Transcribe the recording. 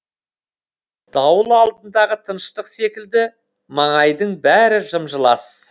дауыл алдындағы тыныштық секілді маңайдың бәрі жым жылас